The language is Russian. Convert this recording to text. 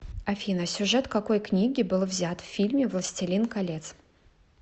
афина сюжет какои книги был взят в фильме властелин колец